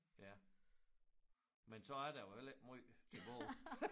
Ja men så er der jo heller ikke måj tilbage